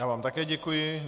Já vám také děkuji.